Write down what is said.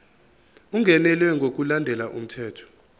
ungenelwe ngokulandela umthetho